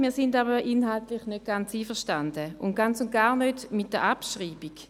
Wir sind aber inhaltlich nicht ganz einverstanden und ganz und gar nicht mit der Abschreibung.